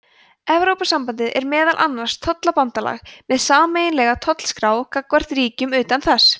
evrópusambandið er meðal annars tollabandalag með sameiginlega tollskrá gagnvart ríkjum utan þess